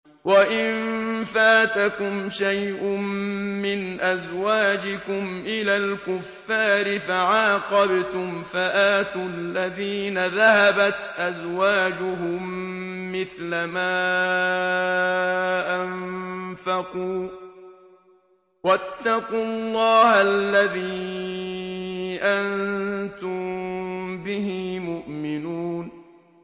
وَإِن فَاتَكُمْ شَيْءٌ مِّنْ أَزْوَاجِكُمْ إِلَى الْكُفَّارِ فَعَاقَبْتُمْ فَآتُوا الَّذِينَ ذَهَبَتْ أَزْوَاجُهُم مِّثْلَ مَا أَنفَقُوا ۚ وَاتَّقُوا اللَّهَ الَّذِي أَنتُم بِهِ مُؤْمِنُونَ